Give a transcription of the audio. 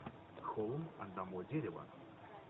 холм одного дерева